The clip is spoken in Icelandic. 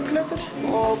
og